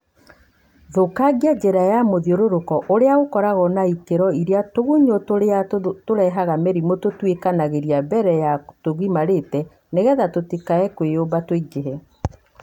Thũkangagia njĩra ya mũthiũrũrũko ũrĩa ũkoragwo na ikĩro iria tũgunyũ tũrĩa tũrehaga mĩrimũ tũtwĩkanagĩria mbere ya tũgimarĩte nĩgetha tũtikae kwĩyũmba tũingĩhe.